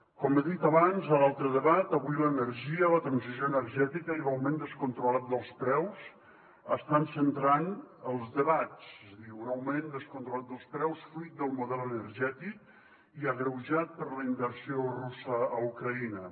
com he dit abans a l’altre debat avui l’energia la transició energètica i l’augment descontrolat dels preus estan centrant els debats és a dir un augment descontrolat dels preus fruit del model energètic i agreujat per la invasió russa a ucraïna